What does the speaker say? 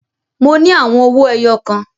Mo ní àwọn owí ẹyọ kan.